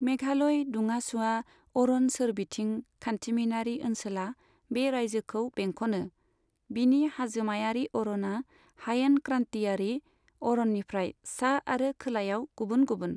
मेघालय दुंआ सुवा अरन सोरबिथिं खान्थिमिनारि ओनसोला बे रायजोखौ बेंखनो, बिनि हाजोमायारि अरना हायेन क्रान्तियारि अरननिफ्राय सा आरो खोलायाव गुबुन गुबुन।